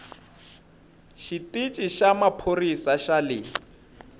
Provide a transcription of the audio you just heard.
xitici xa maphorisa xa le